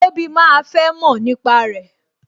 Tobi máa fẹ́ mọ̀ nípa rẹ